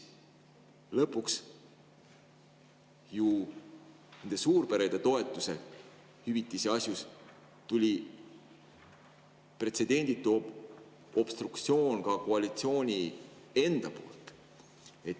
Lõpuks tuli suurperede toetuse asjus pretsedenditu obstruktsioon ka koalitsiooni enda poolt.